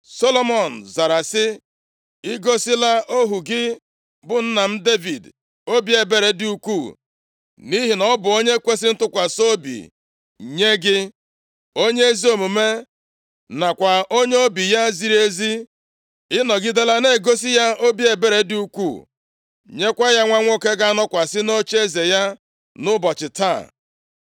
Solomọn zara sị, “I gosila ohu gị bụ nna m Devid obi ebere dị ukwuu, nʼihi na ọ bụ onye kwesiri ntụkwasị obi nye gị, onye ezi omume nakwa onye obi ya ziri ezi. Ị nọgidela na-egosi ya obi ebere dị ukwuu, nyekwa ya nwa nwoke ga-anọkwasị nʼocheeze ya nʼụbọchị taa.